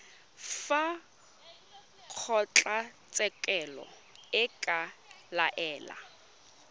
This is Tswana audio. fa kgotlatshekelo e ka laela